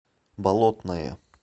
болотное